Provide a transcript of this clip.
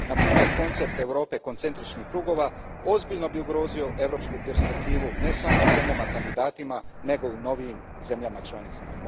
Na primjer, koncept Europe koncentričnih krugova ozbiljno bi ugrozio europsku perspektivu ne samo u zemljama kandidatima, nego i u novijim zemljama članicama.